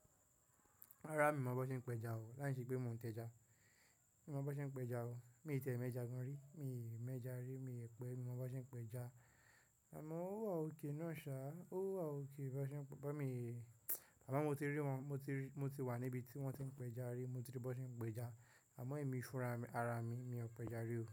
Rárá mi ò mọ bó ṣe ń péja o, láìsí pé mò ń tẹja. Mi ò mọ bó ṣe ń péja o, mi ò tẹ̀ẹ́ mẹ́ja gan ri, mi ò mẹ́ja ri, mi ò pẹ́, mi ò mọ bó ṣe ń péja. Àmọ́ ó wà òkè náà sá, ó wà òkè bó ṣe ń, bó mi, àmọ́ mo ti rí wọn, mo ti rí, mo ti wà níbi tí wọ́n ti ń péja rí, mo ti rí bó ṣe ń péja, àmọ́ èmi fúnra ara mi, mi ò péja rí o.